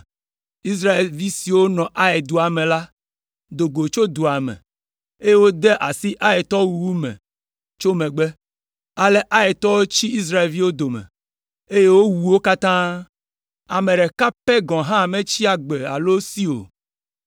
Israelvi siwo nɔ Ai dua me la do go tso dua me, eye wode asi Aitɔwo wuwu me tso megbe. Ale Aitɔwo tsi Israelviwo dome, eye wowu wo katã, ame ɖeka pɛ gɔ̃ hã metsi agbe alo si o,